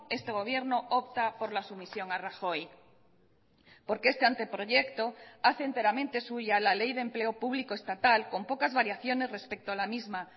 este gobierno opta por la sumisión a rajoy porque este anteproyecto hace enteramente suya la ley de empleo público estatal con pocas variaciones respecto a la misma